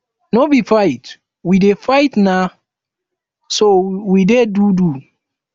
no be fight we dey fight na so we dey do do